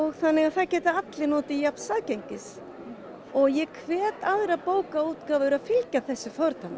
þannig það geta allir notið jafns aðgengis ég hvet aðrar bókaútgáfur að fylgja þessu fordæmi